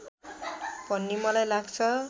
भन्ने मलाई लाग्छ